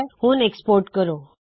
ਹੁਣ ਐਕਸਪੋਰਟ ਕਰੇਂ